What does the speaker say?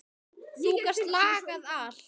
Þú gast lagað allt.